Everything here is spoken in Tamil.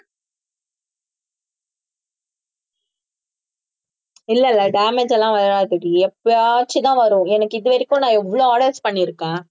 இல்ல இல்ல damage எல்லாம் வராதுடி எப்பயாச்சும்தான் வரும் எனக்கு இது வரைக்கும் நான் எவ்வளவு orders பண்ணியிருக்கேன்